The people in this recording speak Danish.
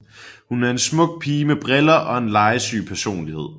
Hun er en smuk pige med briller og en legesyg personlighed